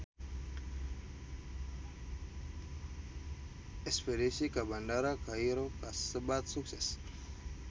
Espedisi ka Bandara Kairo kasebat sukses